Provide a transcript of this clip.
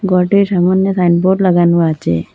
ঘরটির সামোন্যে সাইনবোর্ড লাগানো আচে।